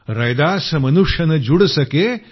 रैदास मनुष न जुड सके